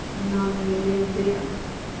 Nanny Lindén